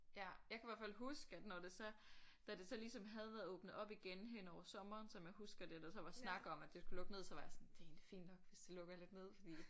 Ja jeg kan i hvert fald huske at når det så da det så ligesom havde været åbnet op igen hen over sommeren som jeg husker det og der så var snak igen om at det skulle lukke ned så var jeg sådan det er egentlig fint nok hvis det skal lukke ned fordi